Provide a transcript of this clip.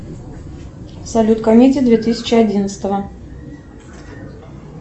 салют комедии две тысячи одиннадцатого